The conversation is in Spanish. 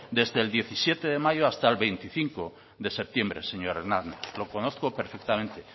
desde el diecisiete de mayo hasta el veinticinco de septiembre señor hernández lo conozco perfectamente